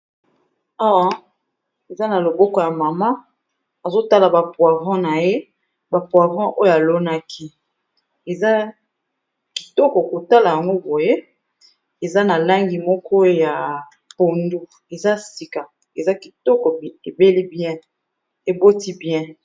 Awa eza na loboko ya mama azo tala ba poivron na ye. Ba poivron oyo alonaki eza kitoko kotala yango boye eza na langi moko ya pondu, eza sika eza kitoko ebeli bien eboti bien.